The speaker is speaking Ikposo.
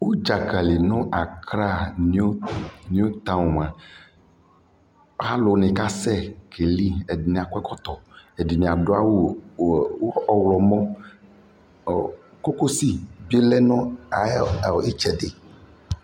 UƉʒa kiika nu Accra New Town mua, aluunɛ kasɛ keli ɛdini akɔ ɛkɔtɔ ɛdini adu awu ɔwlɔmɔɔɔ kokosi bilɛ nu ayitsɛdɛ